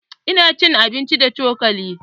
Ina cin abinci da cokali